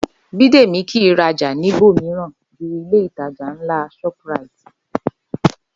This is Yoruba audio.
Bídèmí kí í rajà níbò mìíràn ju Ilé-ìtajà ńlá shoprite